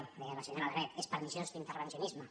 ho deia la senyora alegret és perniciós l’intervencionisme